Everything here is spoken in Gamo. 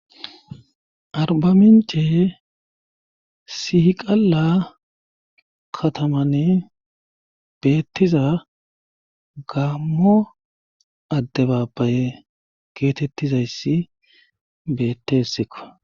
Arbamince sihiqalla katamane beettiza gaammo adde baabbaye geetettizayssi beettessikko.